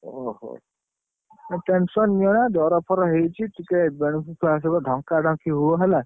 ଓହୋ, ଆଉ tension ନିଅନା, ଜର ଫର ହେଇଛି ଟିକେ ଦେହକୁ ଟିକେ ଢଙ୍କା ଢଙ୍କି ହୁଅ ହେଲା।